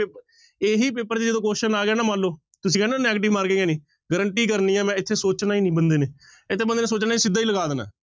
ਇਹੀ ਪੇਪਰ ਚ ਜਦੋਂ question ਆ ਗਿਆ ਨਾ ਮਨ ਲਓ, ਤੁਸੀਂ ਕਹਿਣਾ negative marking ਹੈ ਨੀ guarantee ਕਰਨੀ ਹੈ ਮੈਂ ਇੱਥੇ ਸੋਚਣਾ ਹੀ ਨੀ ਬੰਦੇ ਨੇ, ਇੱਥੇ ਬੰਦੇ ਨੇ ਸੋਚਣਾ ਨੀ ਸਿੱਧਾ ਹੀ ਲਗਾ ਦੇਣਾ ਹੈ।